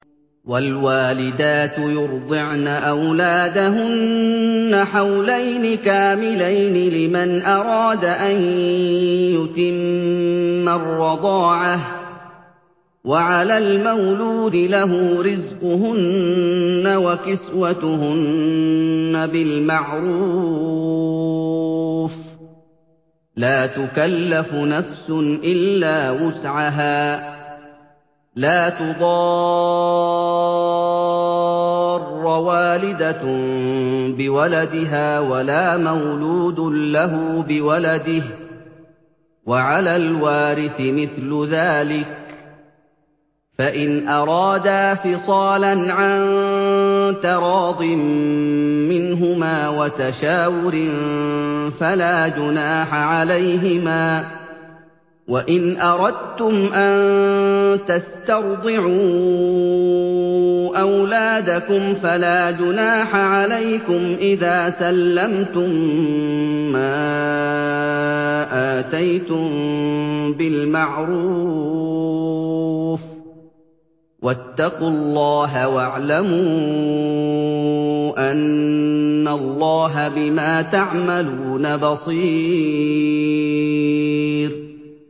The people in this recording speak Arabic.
۞ وَالْوَالِدَاتُ يُرْضِعْنَ أَوْلَادَهُنَّ حَوْلَيْنِ كَامِلَيْنِ ۖ لِمَنْ أَرَادَ أَن يُتِمَّ الرَّضَاعَةَ ۚ وَعَلَى الْمَوْلُودِ لَهُ رِزْقُهُنَّ وَكِسْوَتُهُنَّ بِالْمَعْرُوفِ ۚ لَا تُكَلَّفُ نَفْسٌ إِلَّا وُسْعَهَا ۚ لَا تُضَارَّ وَالِدَةٌ بِوَلَدِهَا وَلَا مَوْلُودٌ لَّهُ بِوَلَدِهِ ۚ وَعَلَى الْوَارِثِ مِثْلُ ذَٰلِكَ ۗ فَإِنْ أَرَادَا فِصَالًا عَن تَرَاضٍ مِّنْهُمَا وَتَشَاوُرٍ فَلَا جُنَاحَ عَلَيْهِمَا ۗ وَإِنْ أَرَدتُّمْ أَن تَسْتَرْضِعُوا أَوْلَادَكُمْ فَلَا جُنَاحَ عَلَيْكُمْ إِذَا سَلَّمْتُم مَّا آتَيْتُم بِالْمَعْرُوفِ ۗ وَاتَّقُوا اللَّهَ وَاعْلَمُوا أَنَّ اللَّهَ بِمَا تَعْمَلُونَ بَصِيرٌ